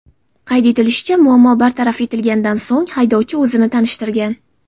Qayd etilishicha, muammo bartaraf etilganidan so‘ng haydovchi o‘zini tanishtirgan.